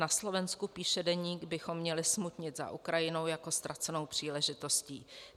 Na Slovensku," píše deník, "bychom měli smutnit za Ukrajinou jako ztracenou příležitostí.